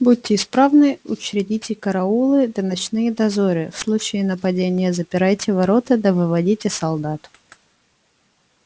будьте исправны учредите караулы да ночные дозоры в случае нападения запирайте ворота да выводите солдат